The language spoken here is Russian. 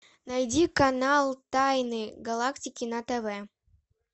найди канал тайны галактики на тв